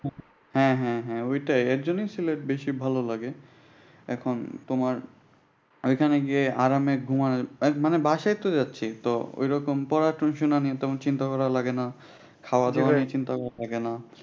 হ্যাঁ হ্যাঁ ঐটাই এই জন্যই সিলেট বেশি ভালো লাগে। এখন তোমার ঐখানে গিয়ে আরামে ঘুমানো মানে বাসায়ইতো যাচ্ছি। ঐরকম পড়াশোনা নিয়ে তোমার চিন্তা করা লাগানে খাওয়া দাওয়ার নিয়ে চিন্তা করা লাগে না